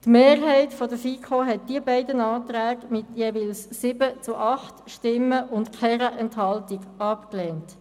Die Mehrheit der FiKo hat die beiden Anträge mit jeweils 7 zu 8 Stimmen bei keiner Enthaltung abgelehnt.